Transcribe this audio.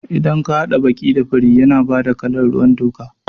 Idan ka haɗa baƙi da fari yana bada kalan ruwan toka